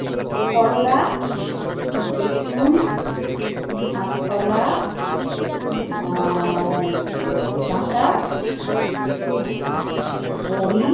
করলা, হুম। বেগুন, হুম। কাঁচকলা। হুম। আর ডাটা , বড়ি